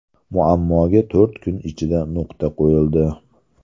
Muammoga to‘rt kun ichida nuqta qo‘yildi.